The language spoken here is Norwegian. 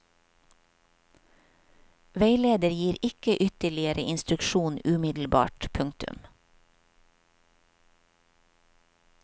Veileder gir ikke ytterligere instruksjon umiddelbart. punktum